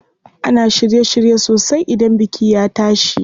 Ana shirye shirye sosai idan biki ya tashi.